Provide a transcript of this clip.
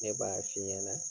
Ne b'a f'i ɲɛnɛ